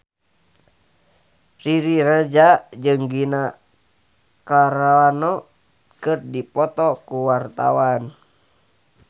Riri Reza jeung Gina Carano keur dipoto ku wartawan